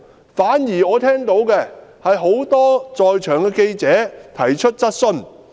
我反而聽到很多在場的記者提出質詢。